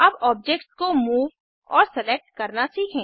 अब ऑब्जेक्ट्स को मूव और सेलेक्ट करना सीखें